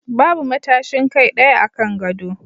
Babu matashin kai ɗaya akan gado